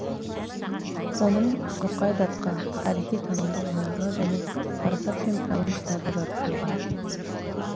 оның шоқай датқа тарихи танымдық жинағы және парасат пен пайым кітабы жарық көрген